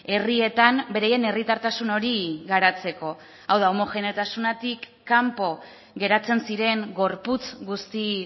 herrietan beraien herritartasun hori garatzeko hau da homogeneotasunetik kanpo geratzen ziren gorputz guzti